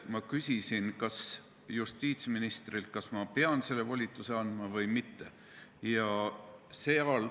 Ma küsisin justiitsministrilt, kas ma pean selle volituse andma või mitte.